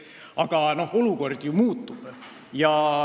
Aga olukord ju muutub.